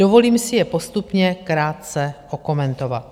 Dovolím si je postupně krátce okomentovat.